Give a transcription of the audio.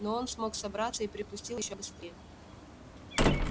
но он смог собраться и припустил ещё быстрее